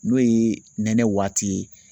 N'o ye nɛnɛ waati ye